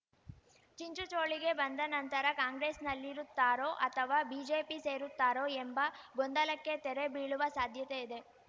ಚಿಂಚುಚೋಳಿಗೆ ಬಂದನಂತರ ಕಾಂಗ್ರೆಸ್‌ನಲ್ಲಿರುತ್ತಾರೋ ಅಥವಾ ಬಿಜೆಪಿ ಸೇರುತ್ತಾರೋ ಎಂಬ ಗೊಂದಲಕ್ಕೆ ತೆರೆ ಬೀಳುವ ಸಾಧ್ಯತೆ ಇದೆ